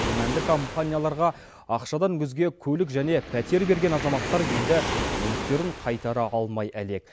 күмәнді компанияларға ақшадан өзге көлік және пәтер берген азаматтар енді мүліктерін қайтара алмай әлек